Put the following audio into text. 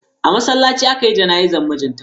A masallaci aka yi jana'izar mijin ta.